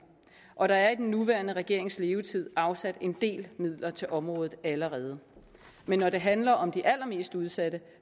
og der er i den nuværende regerings levetid afsat en del midler til området allerede men når det handler om de allermest udsatte